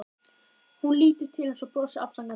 Hún lítur til hans og brosir afsakandi.